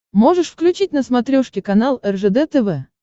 можешь включить на смотрешке канал ржд тв